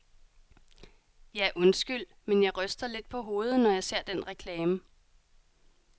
Ja, undskyld, men jeg ryster lidt på hovedet, når jeg ser den reklame.